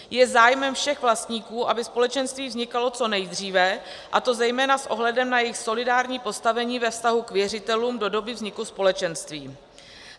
Je zájmem všech vlastníků, aby společenství vznikalo co nejdříve, a to zejména s ohledem na jejich solidární postavení ve vztahu k věřitelům do doby vzniku společenství.